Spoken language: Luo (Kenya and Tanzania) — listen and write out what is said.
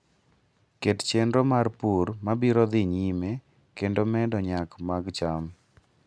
Ket chenro mar pur mabiro dhi nyime kendo medo nyak mag cham